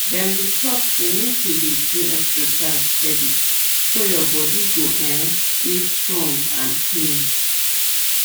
dem dey talk say make you dey do exercise steady so your body go um dey strong and clean